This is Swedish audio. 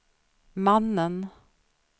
mannen